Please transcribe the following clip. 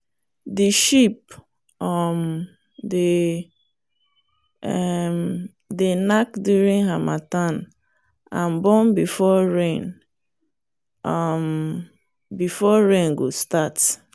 the sheep um dey um knack during harmattan and born before rain um go start